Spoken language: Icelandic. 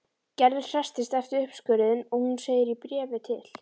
Gerður hresstist eftir uppskurðinn og hún segir í bréfi til